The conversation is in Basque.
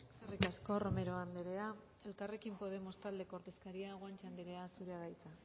eskerrik asko romero andrea elkarrekin podemos taldeko ordezkaria guanche andrea zurea da hitza